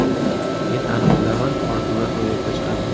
Men aniq bilaman – orzular ro‘yobga chiqadi!